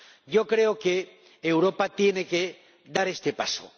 Yo creo que Europa tiene que dar este paso.